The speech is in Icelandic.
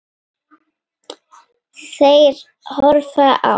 Þeir horfðu á.